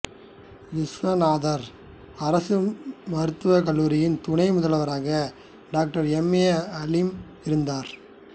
விசுவநாதம் அரசு மருத்துவக் கல்லூரியின் துணை முதல்வராக டாக்டர் எம் ஏ அலீம் இருந்தார்